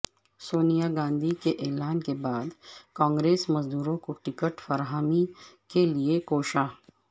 سونیاگاندھی کے اعلان کے بعدکانگریس مزدوروں کوٹکٹ فراہمی کے لیے کوشاں